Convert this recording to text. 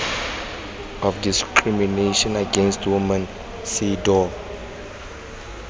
of discrimination against women cedaw